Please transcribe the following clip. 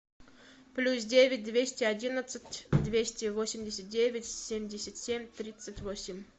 плюс девять двести одинадцать двести восемьдесят девять семьдесят семь тридцать восемь